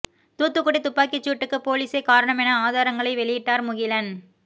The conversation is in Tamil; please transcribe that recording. தூத்துக்குடி துப்பாக்கிச் சூட்டுக்கு போலீஸே காரணம் என ஆதாரங்களை வெளியிட்டார் முகிலன்